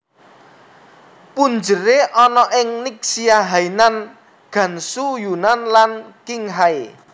Punjere ana ing Ningxia Hainan Gansu Yunnan lan Qinghai